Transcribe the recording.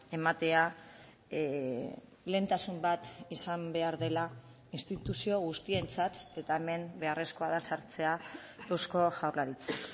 ematea lehentasun bat izan behar dela instituzio guztientzat eta hemen beharrezkoa da sartzea eusko jaurlaritza